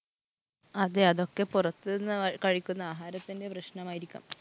അതെ. അതൊക്കെ പുറത്തു നിന്ന് കഴിക്കുന്ന ആഹാരത്തിൻ്റെ പ്രശ്നമായിരിക്കാം.